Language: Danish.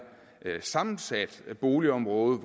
sammensat boligområde